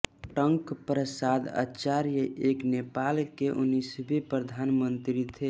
टंक प्रसाद आचार्य एक नेपाल के उन्नीसवें प्रधानमन्त्री थे